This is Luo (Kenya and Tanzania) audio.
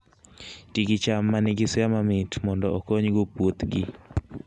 Ti gi cham ma nigi suya mamit mondo okonygo puothgi